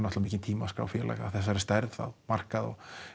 mikinn tíma að skrá félag af þessari stærð á markað